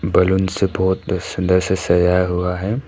Balloon से बहुत सुंदर से सजाया हुआ है।